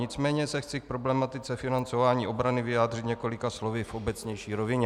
Nicméně se chci k problematice financování obrany vyjádřit několika slovy v obecnější rovině.